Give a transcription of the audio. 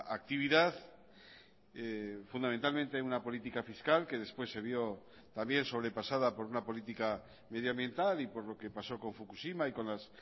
actividad fundamentalmente una política fiscal que después se vio también sobrepasada por una política medioambiental y por lo que pasó con fukushima y con las